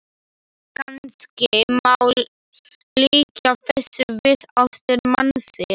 Kannski má líkja þessu við ástir mannsins.